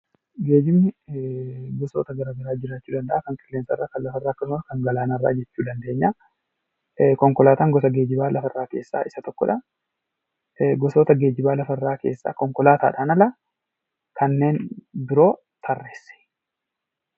Geejibni gosoota gara garaatu jiraachuu danda’a, kan qilleensarraa, kan galaanarraa alkkasuma kan lafarraa jechuu ni dandeenya. Konkolaataan gosa geejjibaa lafarraa keessaa isa tokkodha. Gosoota geejjibaa lafarraa konkolaataadhaan ala kanneen biroo tarreessi.